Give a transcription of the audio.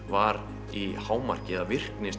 var í hámarki eða virkni